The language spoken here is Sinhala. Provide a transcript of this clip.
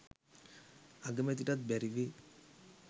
අගමැතිටත් බැරිවේ